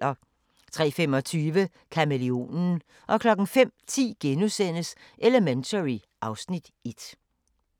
03:25: Kamæleonen 05:10: Elementary (Afs. 1)*